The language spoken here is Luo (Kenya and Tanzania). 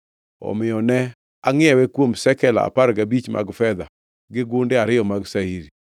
Omiyo ne angʼiewe kuom shekel apar gabich mag fedha gi gunde ariyo mag shairi.